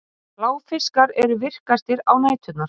Bláfiskar eru virkastir á næturnar.